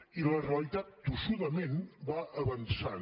i la realitat tossudament va avançant